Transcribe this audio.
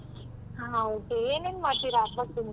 ಹ okay ಏನೇನ ಮಾಡ್ತೀರಾ ಹಬ್ಬಕ್ಕೆ ನಿಮ್ಮ ಮನೇಲಿ?